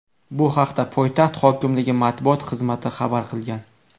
Bu haqda poytaxt hokimligi matbuot xizmati xabar qilgan .